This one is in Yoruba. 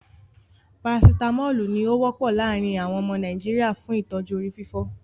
Paracitamolu ní o wọ́pọ̀ láàrín àwọn ọmọ Nàìjíríà fún ìtọ́jú orí fífọ́.